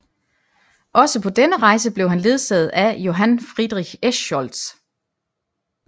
Også på denne rejse blev han ledsaget af Johann Friedrich Eschscholtz